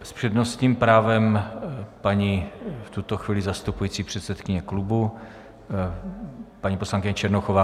S přednostním právem paní v tuto chvíli zastupující předsedkyně klubu, paní poslankyně Černochová.